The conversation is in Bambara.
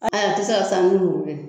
Ayi a te se ka saani ni muru ye